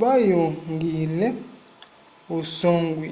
vayongwile usongwi